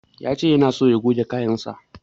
Ya ce yana so ya goge kayansa.